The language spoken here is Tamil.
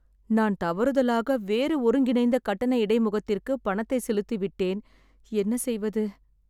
நான் தவறுதலாக வேறு ஒருங்கிணைந்த கட்டண இடைமுகத்திற்க்கு பணத்தை செலுத்திவிட்டேன். என்ன செய்வது?